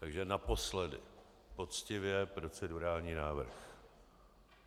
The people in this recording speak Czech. Takže naposledy poctivě procedurální návrh.